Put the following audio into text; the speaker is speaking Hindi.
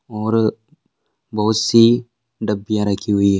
--और बहुत सी डब्बिया रखी हुई --